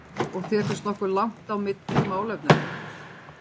Lillý: Og þér finnst nokkuð langt á milli í málefnunum?